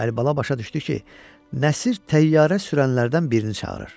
Əlibala başa düşdü ki, Nəsir təyyarə sürənlərdən birini çağırır.